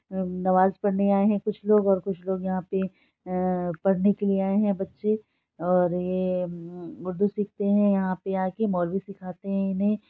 नमाज पढ़ने आए है कुछ लोग और कुछ लोग यहाँ पे अ पढ़ने के लिए आए है बच्चे और ये उर्दू सीखते है यहाँ पे आके मौलवी सीखाते है। इन्हे--